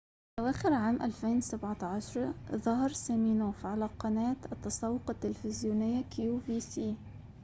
في أواخر عام 2017 ظهر سيمينوف على قناة التسوق التلفزيونية كيو في سي